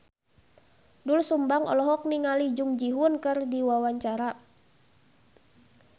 Doel Sumbang olohok ningali Jung Ji Hoon keur diwawancara